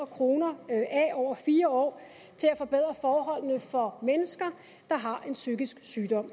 kroner af over fire år til at forbedre forholdene for mennesker der har en psykisk sygdom